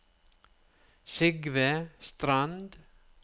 Sigve Strand